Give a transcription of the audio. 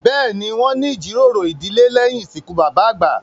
Bẹ́ẹ̀ni, wọn ní ìjíròrò ìdílé lèyín ìsìnkú bàbà àgbà